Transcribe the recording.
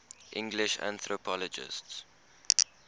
english anthropologists